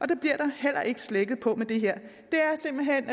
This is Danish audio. det bliver der heller ikke slækket på med det her der er simpelt hen